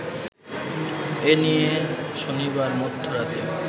এনিয়ে শনিবার মধ্যরাতে